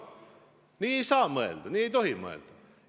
Nii ei saa mõelda, nii ei tohi mõelda!